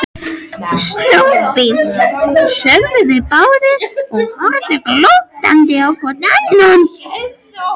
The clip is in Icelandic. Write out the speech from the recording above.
Stórfínt sögðu þeir báðir og horfðu glottandi hvor á annan.